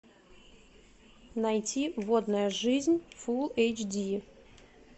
найти водная жизнь фулл эйч ди